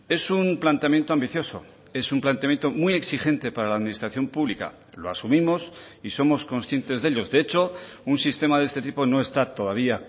es un planteamiento ambicioso es un planteamiento muy exigente para la administración pública lo asumimos y somos conscientes de ellos de hecho un sistema de este tipo no está todavía